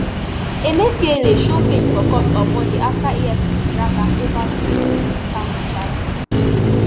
emefiele show face for court on monday afta efcc drag am ova twenty-sixcount charges